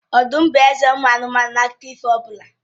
Ọdụm m bụ eze ụmụ anụmanụ na akụkọ ifo ọbụla.